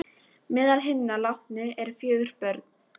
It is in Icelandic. Meðal hinna látnu eru fjögur börn